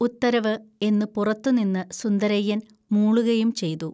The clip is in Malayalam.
ഉത്തരവ് ' എന്നു പുറത്തുനിന്നു സുന്ദരയ്യൻ മൂളുകയും ചെയ്തു